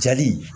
Jali